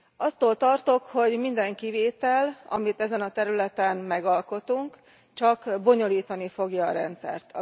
Attól tartok, hogy minden kivétel, amit ezen a területen megalkotunk, csak bonyolítani fogja a rendszert.